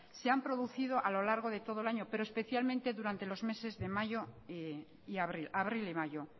se han producido a lo largo de todo el año pero especialmente durante los meses de abril y mayo